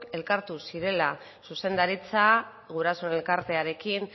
elkartu zirela zuzendaritza gurasoen elkartearekin